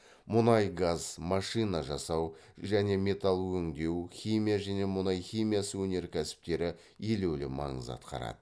мұнай газ машина жасау және металл өңдеу химия және мұнай химиясы өнеркәсіптері елеулі маңыз атқарады